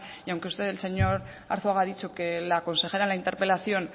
y aunque usted señor arzuaga ha dicho que la consejera en la interpelación